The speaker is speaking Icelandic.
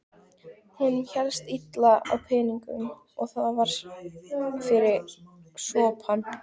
Honum hélst illa á peningum og var mikið fyrir sopann.